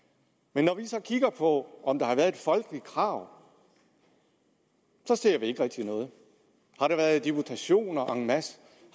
men når vi så kigger på om der har været et folkeligt krav ser vi ikke rigtig noget har der været deputationer en masse